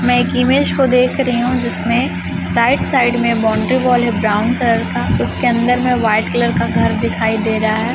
मैं एक image show देख रही हूं जिसमें राईट साईड में बाउंड्री वॉल हैं ब्राउन कलर का उसके अंदर में व्हाईट कलर का घर दिखाई दे रहा है।